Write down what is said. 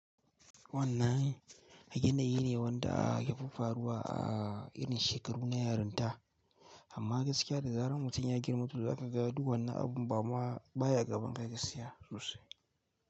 Wannan yanayi ne wanda ya fi faruwa a irin shekaru na yarinta, amma gaskiya da zarar mutum ya girma to za ka ga duwanna abun ba ma baya gaban ka gaskiya sosai.